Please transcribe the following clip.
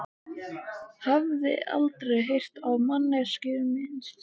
Hafði aldrei heyrt á manneskjuna minnst.